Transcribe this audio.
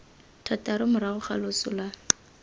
thataro morago ga loso la